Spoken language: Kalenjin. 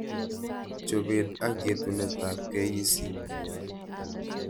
Chobet ak yetunetab KEC